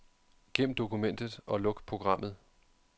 Gem dokumentet og luk programmet.